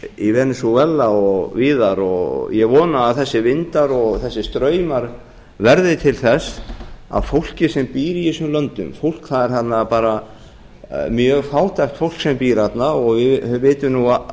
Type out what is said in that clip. í venesúela og víðar ég vona að þessir vindar og þessir straumar verði til þess að fólkið sem býr í þessum löndum það er mjög fátækt fólk sem býr þarna og við vitum nú